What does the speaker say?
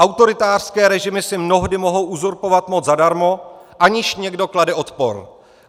Autoritářské režimy si mnohdy mohou uzurpovat moc zadarmo, aniž někdo klade odpor.